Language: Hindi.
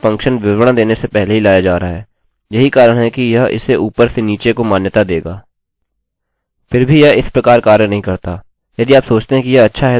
फिर भी यह इस प्रकार कार्य नहीं करता यदि आप सोचते हैं कि यह अच्छा है तो आप इसे पेज के नीचे भी दे सकते हैं मैं हमेशा विवरण ऊपर देना ही पसंद करता हूँ ताकि फिर से शुरू कर सकता हूँ या वापस ऊपर जा सकता हूँ और देख सकता हूँ कि मैं कहाँ हूँ